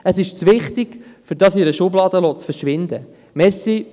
Es ist zu wichtig, um es in einer Schublade verschwinden zu lassen.